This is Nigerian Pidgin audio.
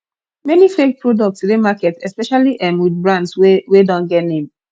many fake products de market especially um with brand wey wey don get name